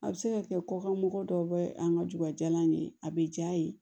A bɛ se ka kɛ kɔkan mɔgɔ dɔw bɛ an ka dubajalan ye a bɛ ja ye